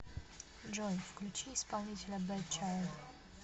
джой включи исполнителя бэд чайлд